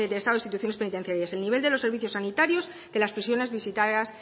de estado instituciones penitenciarias el nivel de los servicios sanitarios de las prisiones visitadas